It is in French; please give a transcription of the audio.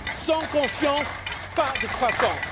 Sans confiance pas de croissance.